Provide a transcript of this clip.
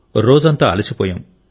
రోజంతా అలసిపోయాం